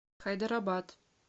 хайдарабад